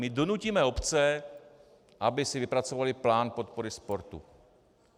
My donutíme obce, aby si vypracovaly plán podpory sportu.